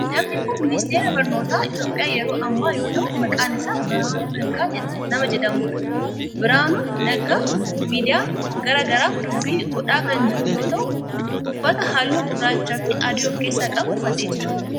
Namni kun ministeera barnootaa Itiyoophiyaa yeroo ammaa yoo ta'u maqaan isaa Birahaanuu Naggaa nama jedhamudha. Birahaanuu Naggaa miidiyaa garaa garaaf dubbii godhaa kan jiru yoo ta'u uffata halluu gurraachaa fi adii of keessaa qabu uffatee jira.